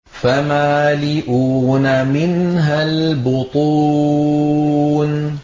فَمَالِئُونَ مِنْهَا الْبُطُونَ